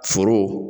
Foro